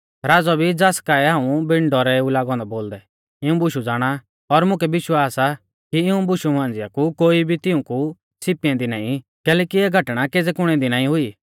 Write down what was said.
राज़ौ भी ज़ास काऐ हाऊं बिण डौरै ऊ लागौ औन्दौ बोलदै इऊं बुशु ज़ाणा और मुकै विश्वास आ कि इऊं बुशु मांझ़िया कु कोई भी तिऊंकु छ़िपी ऐन्दी नाईं कैलैकि इऐ घटणा केज़ै कुणे दी नाईं हुई